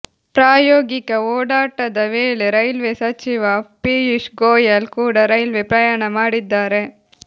ಪ್ರಾಯೋಗಿಕ ಓಡಾಟದ ವೇಳೆ ರೈಲ್ವೆ ಸಚಿವ ಪಿಯೂಷ್ ಗೋಯಲ್ ಕೂಡ ರೈಲ್ವೆ ಪ್ರಯಾಣ ಮಾಡಿದ್ದಾರೆ